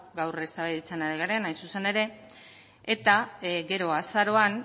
gaur eztabaidatzen ari garena hain zuzen ere eta gero azaroan